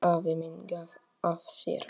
Afi minn gaf af sér.